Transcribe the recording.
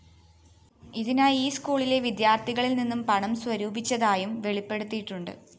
ഇതിനായി ഈ സ്‌കൂളിലെ വിദ്യാര്‍ത്ഥികളില്‍ നിന്ന് പണം സ്വരൂപിച്ചതായും വെളിപ്പെടുത്തിയിട്ടുണ്ട്